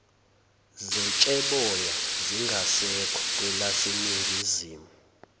zetsheboya zingasekho kwelaseningizimu